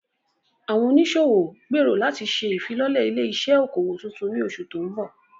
Àwọn oníṣòwò gbèrò láti ṣe ìfilọ́lẹ̀ ilé-iṣẹ́ okòwò tuntun ní oṣù tó ń bọ̀.